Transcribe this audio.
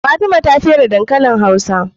Fatima ta fere dankalin hausa